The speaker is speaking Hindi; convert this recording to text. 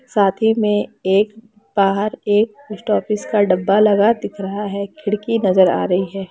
साथी ही में एक बाहर एक पोस्ट ऑफिस का डब्बा लगा दिख रहा है खिड़की नज़र आ रही है।